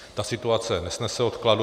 Ta situace nesnese odkladu.